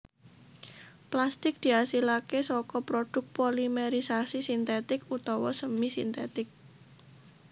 Plastik diasilaké saka produk polimérisasi sintetik utawa semi sintetik